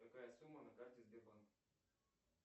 какая сумма на карте сбербанка